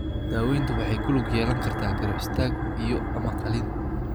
Daaweyntu waxay ku lug yeelan kartaa garab istaag iyo ama qalliin.